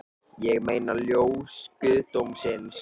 Ég meina ljós guðdómsins